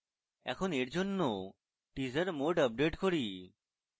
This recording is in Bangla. এখন এরজন্য teaser mode আপডেট করি